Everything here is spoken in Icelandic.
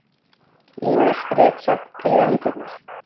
Ýmis ritsöfn prýða hillurnar.